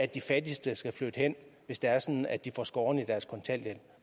de fattigste flytte hen hvis det er sådan at de får skåret i deres kontanthjælp